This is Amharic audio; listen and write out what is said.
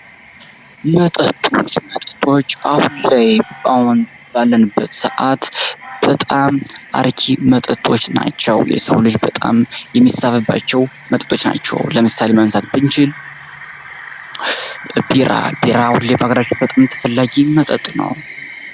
መጠጦች፤ መጠጦች አሁን ላይ አሁን ባለንበት ሰአት በጣም አርኪ መጠጦች ናቸው። የሰው ልጅ በጣም የሚሳበባቸው መጠጦች ናቸው። ለምሳሌ ማንሳት ብንችል ቢራ፤ ቢራ በሃገራችን በጣም ተፈላጊ መጠጥ ነው።